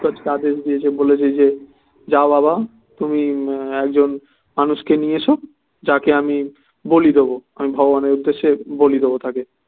ঘটোৎকচকে আদেশ দিয়েছে যাও বাবা তুমি একজন মানুষ কে নিয়ে এসো যাকে আমি বলি দেব আমি ভগবানের উদ্দেশ্যে বলি দেব তাকে